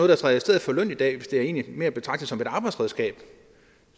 der træder i stedet for løn i dag hvis det egentlig mere er at betragte som et arbejdsredskab